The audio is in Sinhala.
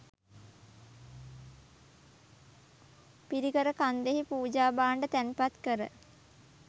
පිරිකර කන්දෙහි පූජා භාණ්ඩ තැන්පත් කර